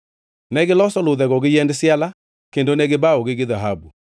Negiloso ludhego gi yiend siala kendo ne gibawogi gi dhahabu.